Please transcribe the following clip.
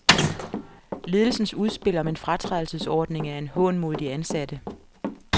Ledelsens udspil om en fratrædelsesordning er en hån mod de ansatte.